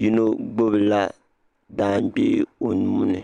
yino gbibi la jaangbee o nuuni.